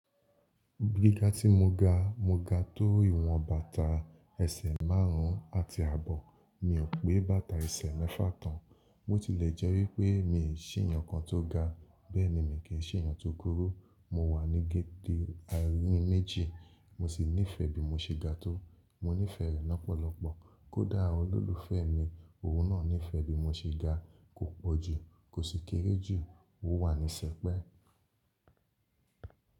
Gígá tí mo ga, mo ga tó ìwọn bàtà ẹsẹ̀ márùn ún àti àbọ̀. Mi ò pé bàtà ẹsẹ̀ mẹ́fà tán. Bó ti lè jẹ́ wípé mi ò ṣì èèyàn kan tó ga, bẹ́ẹ̀ ni mi kì í ṣì èèyàn tó kúrú. Mo wà ní géde àárín méjì. Mo sì nífẹ̀ẹ́ bí mo ṣe ga tó. Mo nífẹ̀ẹ́ rẹ̀ lọ́pọ̀lọpọ̀. Kódà olólùfẹ́ mi ohun náà nífẹ́ bí mo ṣe ga kò pòjù, kò sì kéré jù. Ó wà ní sẹpẹ́.